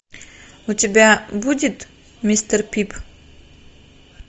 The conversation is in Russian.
у тебя будет мистер пип